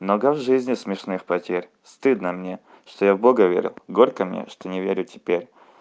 много в жизни смешных потерь стыдно мне что я в бога верил горько мне что не верю теперь